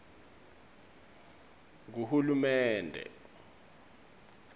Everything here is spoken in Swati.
nguhulumende